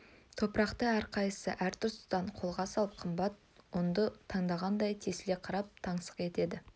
топырақты әрқайсысы әр тұстан қолға салып қымбат ұнды тандағандай тесіле қарап таңсық етеді